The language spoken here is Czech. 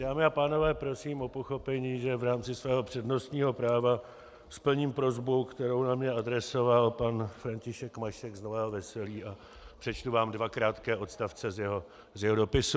Dámy a pánové, prosím o pochopení, že v rámci svého přednostního práva splním prosbu, kterou na mě adresoval pan František Mašek z Nového Veselí a přečtu vám dva krátké odstavce z jeho dopisu.